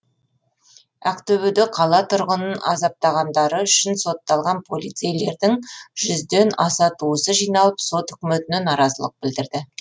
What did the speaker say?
ақтөбеде қала тұрғынын азаптағандары үшін сотталған полицейлердің жүзден аса туысы жиналып сот үкіметіне наразылық білдірді